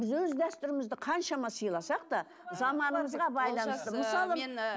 біз өз дәстүрімізді қаншама сыйласақ та заманымызға